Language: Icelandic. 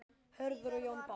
Hörður og Jón Páll.